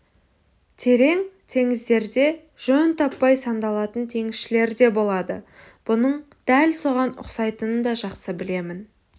терең теңіздерде жөн таппай сандалатын теңізшілер де болады бұның дәл соған ұқсайтынын да жақсы білемін